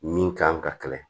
Min kan ka kɛlɛ